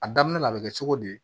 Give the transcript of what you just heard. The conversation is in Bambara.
A daminɛ la a bɛ kɛ cogo di